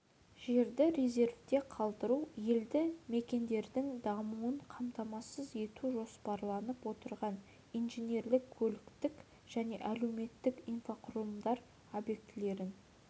жерді резервте қалдыру елді мекендердің дамуын қамтамасыз ету жоспарланып отырған инженерлік көліктік және әлеуметтік инфрақұрылымдар объектілерін